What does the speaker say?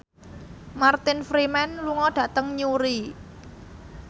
Martin Freeman lunga dhateng Newry